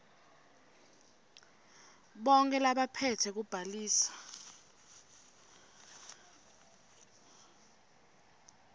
bonkhe labaphetse kubhaliswa